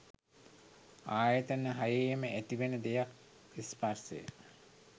ආයතන හයේම ඇතිවෙන දෙයක් ස්පර්ශය